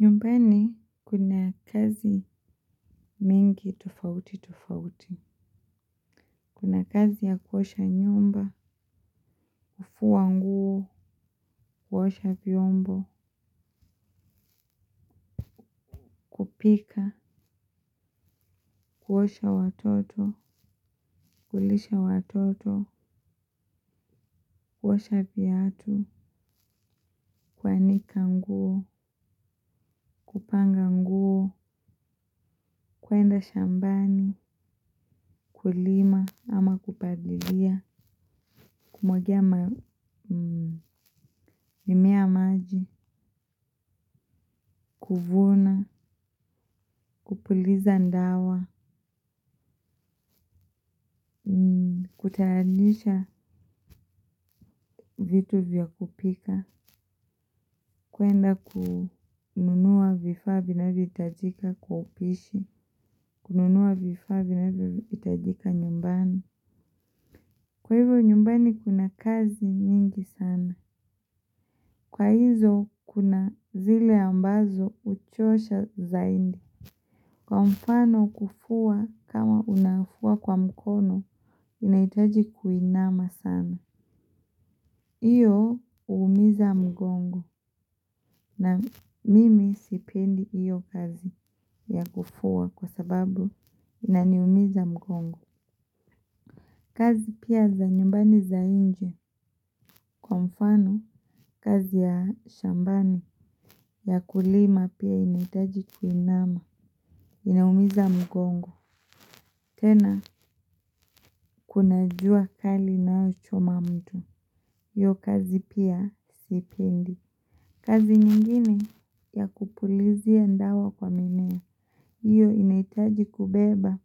Nyumbani kuna kazi mingi tofauti tofauti, kuna kazi ya kuosha nyumba, kufua nguo, kuosha vyombo, pika, kuosha watoto, kulisha watoto, kuosha viatu, kuanika nguo, kupanga nguo, kuenda shambani, kulima, ama kupalilia, kumwagia mimea maji, kuvuna, kupuliza dawa kutayarisha vitu vya kupika kuenda kununua vifaa vinavyohitakia kwa upishi. Kununua vifaa vinavohitajika nyumbani. Kwa hivyo nyumbani kuna kazi nyingi sana. Kwa hizo kuna zile ambazo huchosha zaidi. Kwa mfano kufua kama unafua kwa mkono. Inahitaji kuinama sana. Iyo huumiza mgongo. Na mimi sipendi iyo kazi ya kufua kwa sababu inaniumiza mgongo. Kazi pia za nyumbani za nje kwa mfano kazi ya shambani ya kulima pia inahitaji kuinama inaumiza mgongo. Tena kunajua kali inayochoma mtu. Iyo kazi pia sipendi. Kazi nyingine ya kupulizia dawa kwa mimea. Iyo inahitaji kubeba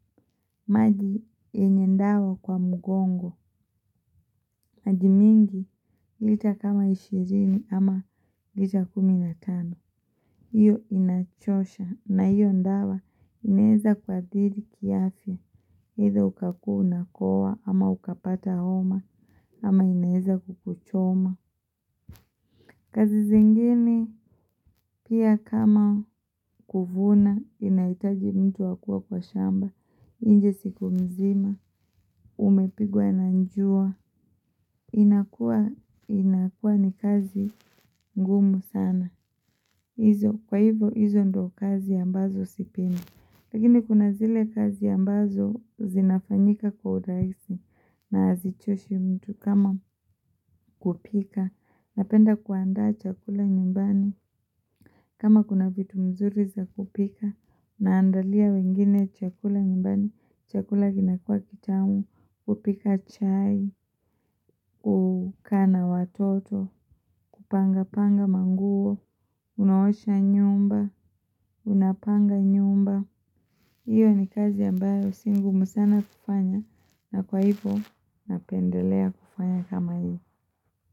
maji yenye dawa kwa mgongo maji mingi lita kama ishirini ama lita kumi na tano hiyo inachosha na hio dawa inaeza kuathiri kiafya either ukakuwa unakohoa ama ukapata homa ama inaeza kukuchoma. Kazi zingine pia kama kuvuna inahitaji mtu akuwe kwa shamba nje siku mzima, umepigwa na jua. Inakua ni kazi ngumu sana. Izo, kwa hivo, izo ndo kazi ambazo sipendi. Lakini kuna zile kazi ambazo zinafanyika kwa urahisi. Na hazichoshi mtu kama kupika. Napenda kuandaa chakula nyumbani. Kama kuna vitu mzuri za kupika naandalia wengine chakula nyumbani. Chakula kinakuwa kitamu, kupika chai, kukaa na watoto, kupanga panga manguo, unaosha nyumba, unapanga nyumba. Iyo ni kazi ambayo si ngumu sana kufanya na kwa hivyo napendelea kufanya kama hivyo.